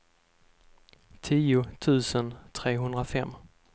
tio tusen trehundrafem